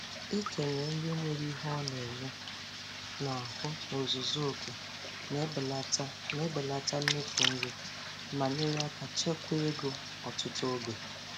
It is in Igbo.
Ikenye nri nwere ihe ọ na-enye n'ahụ n'ozuzu oke na-ebelata na-ebelata mmefu nri ma nyere aka chekwaa ego ọtụtụ oge